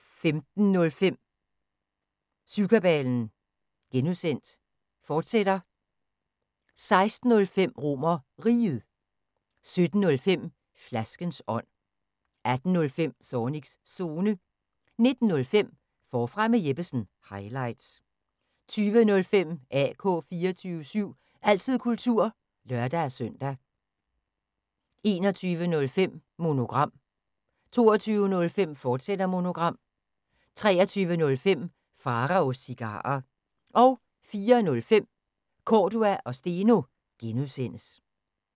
15:05: Syvkabalen (G), fortsat 16:05: RomerRiget 17:05: Flaskens ånd 18:05: Zornigs Zone 19:05: Forfra med Jeppesen – highlights 20:05: AK 24syv – altid kultur (lør-søn) 21:05: Monogram 22:05: Monogram, fortsat 23:05: Pharaos Cigarer 04:05: Cordua & Steno (G)